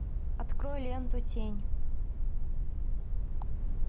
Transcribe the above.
открой ленту тень